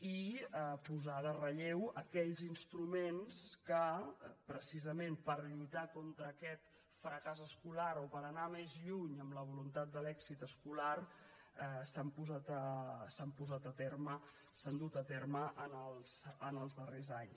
i posar en relleu aquells instruments que precisament per lluitar contra aquest fracàs escolar o per anar més lluny amb la voluntat de l’èxit escolar s’han dut a terme els darrers anys